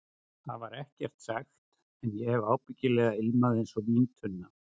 Það var ekkert sagt, en ég hef ábyggilega ilmað einsog víntunna.